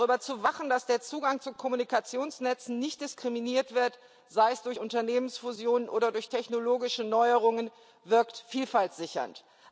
Darüber zu wachen, dass der Zugang zu Kommunikationsnetzen nicht diskriminiert wird, sei es durch Unternehmensfusionen oder durch technologische Neuerungen, wirkt Vielfalt sichernd.